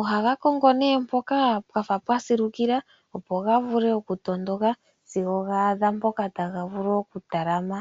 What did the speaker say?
ohaga kongo nee mpoka pwafa pwa silukila, opo ga vule oku tondoka sigo ga adha mpoka taga vulu oku talama.